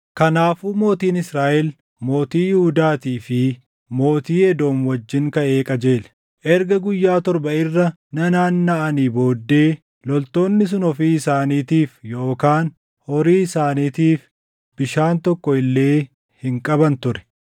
Kanaafuu mootiin Israaʼel mootii Yihuudaatii fi mootii Edoom wajjin kaʼee qajeele. Erga guyyaa torba irra nanaannaʼanii booddee loltoonni sun ofii isaaniitiif yookaan horii isaaniitiif bishaan tokko illee hin qaban ture.